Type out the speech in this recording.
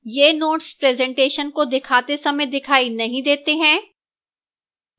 ये notes presentation को दिखाते समय दिखाई नहीं देते हैं